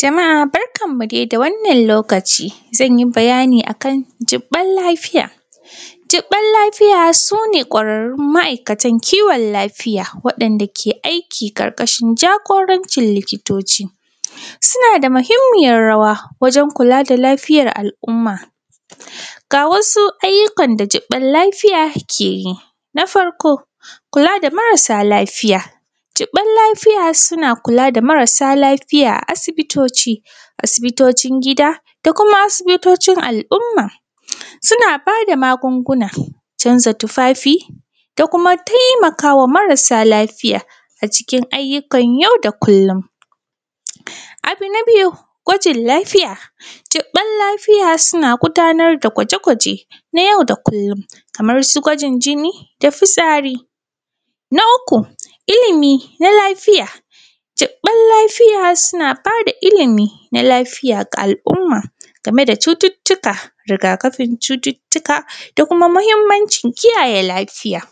Jama’a barkanmuˋ dai da wannan lokaciˋ, zanyiˋ bayaniˋ akan jibban lafiyaˋ, jibban lafiyaˋ suneˋ kwararun ma’aikatan kiwon lafiyaˋ waɗandaˋ ke aiki karkashin jagorancin likitociˋ. Sunaˋ da mahimmiyar rawaˋ wajen kulaˋ da lafiyar al’umma ga wasuˋ ayyukan da jibban lafiya ke yiˋ. Na farkoˋ kulaˋ da marasaˋ lafiyaˋ, jibban lafiyaˋ sunaˋ kulaˋ da marasaˋ lafiyaˋ a asibitociˋ, asibitocin gidaˋ da kumaˋ asibitocin al’umma, sunaˋ badaˋ magungunaˋ, canzaˋ tufanfiˋ, da kumaˋ taimakawaˋ marasaˋ lafiyaˋ a cikin ayyukan yau da kullum. Abu na biyuˋ gwajin lafiyaˋ, jibban lafiyaˋ sunaˋ gudanar daˋ gwajeˋ gwajeˋ na yau da kullum, kaman su gwajin jiniˋ da fitsariˋ. Na uku ilimiˋ na lafiyaˋ, jibban lafiyaˋ sunaˋ badaˋ ilimiˋ na lafıyaˋ ga al’umma gameˋ da cututukaˋ, rigakafin cututukaˋ, da kumaˋ mahimmanci kiyayye lafiyaˋ.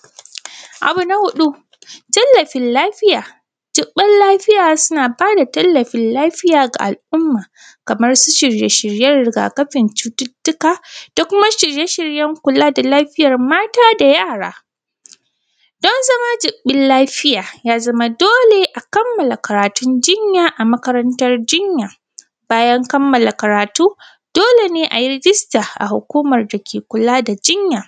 Abu na huduˋ. Tallafin lafiyaˋ, jibban lafiyaˋ sunaˋ badaˋ tallafin lafiyaˋ ga al’umma kaman su shiryeˋ shiryeˋ rigakafin cututukaˋ, da kumaˋ shiryeˋ shiryen kulaˋ da kumaˋ shiryeˋ shiryen kulaˋ da lafiyan mataˋ da yaraˋ. Don zamaˋ jibban lafiyaˋ ya zamaˋ doleˋ a kammalaˋ karatun jinyaˋ a makarantanˋ jinyaˋ, bayan kammalaˋ karatuˋ doleˋ ne ayi rijistaˋ a hukuman da ke kulaˋ da jinyaˋ.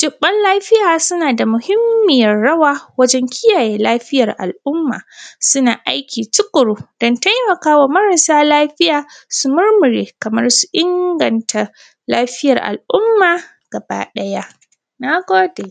Jibban lafiyaˋ sunaˋ da muhimmiyar rawaˋ wajen kiyayye lafiyar al’aumma, sunaˋ aikiˋ tukuruˋ don taimakawaˋ marasaˋ lafiyaˋ su murmureˋ kaman ingantˋa lafiyar al’ummaˋ gaba ɗayaˋ. Na godeˋ.